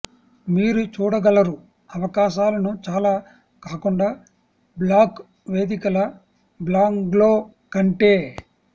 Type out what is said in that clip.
మీరు చూడగలరు అవకాశాలను చాలా కాకుండా బ్లాగ్ వేదికల బ్లాగ్లో కంటే